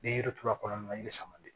Ni yiri turula kɔnɔ na yiri sama de